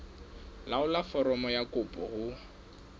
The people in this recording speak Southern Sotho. laolla foromo ya kopo ho